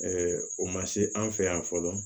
o ma se an fɛ yan fɔlɔ